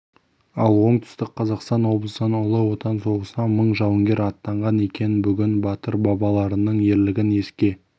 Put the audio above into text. ал оңтүстік қазақстан облысынан ұлы отан соғысына мың жауынгер аттанған екен бүгін батыр бабаларының ерлігін еске